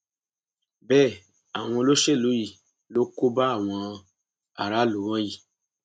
bẹẹ àwọn olóṣèlú yìí ló kó bá àwọn aráàlú wọnyí